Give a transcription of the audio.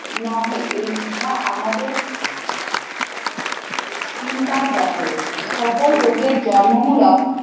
নহে এই ইহা আমাদের চিন্তার কঠোর ও। সকল রোগের জন্মমূলক